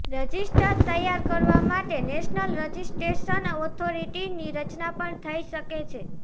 register તૈયાર કરવા માટે નેશનલ રજિસ્ટ્રેશન ઓથોરિટીની રચના પણ થઇ શકે છે